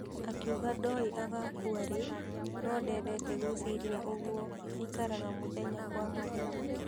Akiuga ndoĩ agakua rĩ no ndedete gwĩciria ũguo aikaraga mũthenya kwa mũthenya.